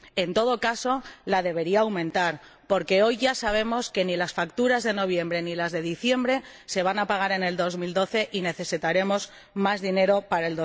En todo caso, debería aumentarla, porque hoy ya sabemos que ni las facturas de noviembre ni las de diciembre se van a pagar en 2012 y que necesitaremos más dinero para